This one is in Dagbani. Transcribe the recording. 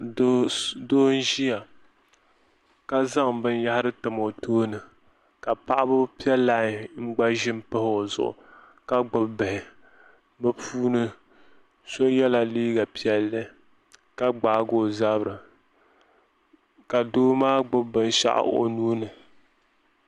foo n ʒia ka zaŋ binyahari tam o tooni ka paɣaba piɛ lai n gba ʒini m pahi o zuɣu ka gbibi bihi bɛ puuni so yela liiga pilli ka gbaagi o zabiri ka doo maa gbibi binshaɣu o nuuni.